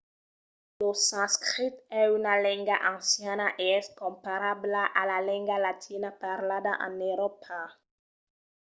lo sanscrit es una lenga anciana e es comparabla a la lenga latina parlada en euròpa